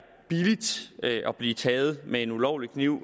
billigt at blive taget med en ulovlig kniv